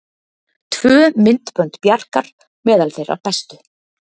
Tvö myndbönd Bjarkar meðal þeirra bestu